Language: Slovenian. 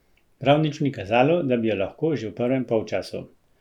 Prav nič ni kazalo, da bi jo lahko že v prvem polčasu.